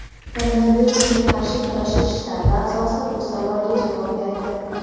Koronavirusga qarshi kurashish shtabi a’zosi bu savolga javob berdi.